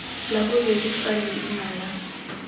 la bobedi fa leina la